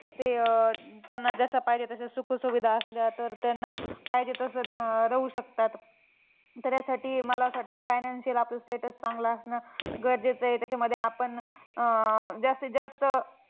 ते त्यांना जशा पाहिजे तशा सुखसुविधा असल्या तर त्यांना पाहिजे तसं अं राहू शकतात. त्याच्यासाठी मला असं वाटतं financially चं आपलं status चांगलं असणं गरजेचं ए. त्याच्यामध्ये आपण अं जास्तीत जास्त